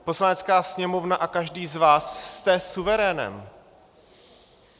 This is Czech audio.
Poslanecká sněmovna a každý z vás jste suverénem.